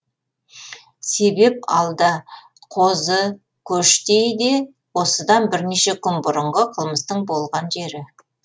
себеп алда қозыкөштейде осыдан бірнеше күн бұрынғы қылмыстың болған жері